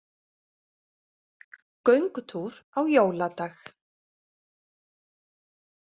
Göngutúr á jóladag